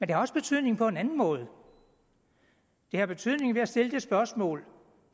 det har også betydning på en anden måde det har betydning ved at det stiller det spørgsmål